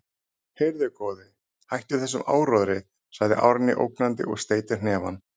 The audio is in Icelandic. Heyrðu, góði, hættu þessum áróðri, segir Árný ógnandi og steytir hnefann.